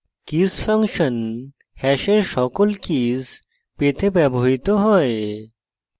keys function hash সকল keys পেতে ব্যবহৃত হয়